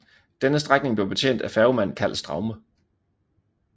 Denne strækning blev betjent af færgemand Karl Straume